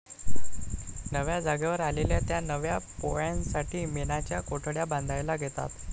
नव्या जागेवर आलेल्या त्या नव्या पोळ्यांसाठी मेणाच्या कोठड्या बांधायला घेतात.